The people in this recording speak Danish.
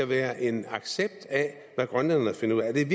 være en accept af hvad grønlænderne finder ud af er